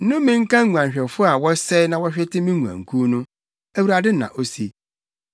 “Nnome nka nguanhwɛfo a wɔsɛe na wɔhwete me nguankuw no!” Awurade na ose.